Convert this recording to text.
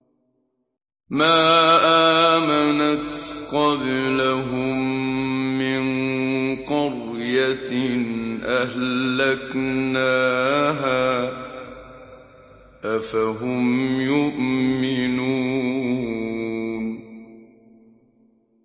مَا آمَنَتْ قَبْلَهُم مِّن قَرْيَةٍ أَهْلَكْنَاهَا ۖ أَفَهُمْ يُؤْمِنُونَ